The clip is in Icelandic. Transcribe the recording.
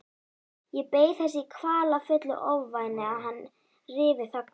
Ég beið þess í kvalafullu ofvæni að hann ryfi þögnina.